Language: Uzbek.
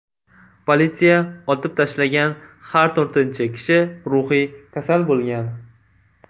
Politsiya otib tashlagan har to‘rtinchi kishi ruhiy kasal bo‘lgan.